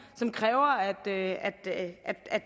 som kræver at at